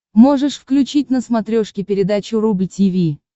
можешь включить на смотрешке передачу рубль ти ви